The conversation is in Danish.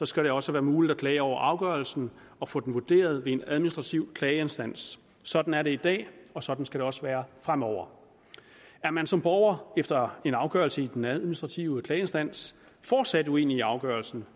skal det også være muligt at klage over afgørelsen og få den vurderet ved en administrativ klageinstans sådan er det i dag og sådan skal det også være fremover er man som borger efter en afgørelse i den administrative klageinstans fortsat uenig i afgørelsen